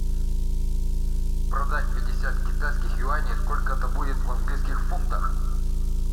продать пятьдесят китайских юаней сколько это будет в английских фунтах